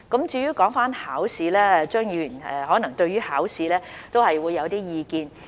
至於考試，張議員可能對考試有一些意見。